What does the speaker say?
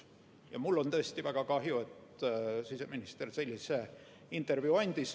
Ja mul on tõesti väga kahju, et siseminister sellise intervjuu andis.